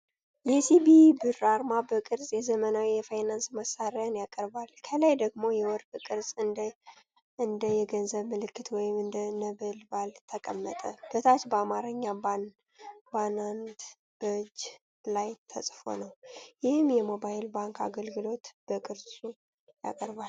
የ“ሲቢኢ ብር” አርማ በቅርጽ የዘመናዊ የፋይናንስ መሳሪያን ያቀርባል። ከላይ ደግሞ የወርቅ ቅርጽ እንደ የገንዘብ ምልክት ወይም እንደ ነበልባል ተቀመጠ። በታች በአማርኛ “ባንንት በእጅ ላይ!” ተጻፎ ነው፣ ይህም የሞባይል ባንክ አገልግሎትን በቅርጽ ያቀርባል።